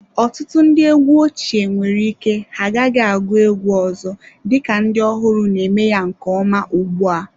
Ọtụtụ ndị egwu ochie nwere ike ha agaghị agụ egwu ọzọ, dịka ndị ọhụrụ na-eme ya nke ọma ugbu a.